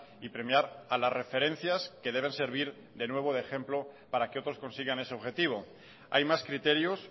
y premiar a las referencias que deben servir de nuevo de ejemplo para que otros consigan ese objetivo hay más criterios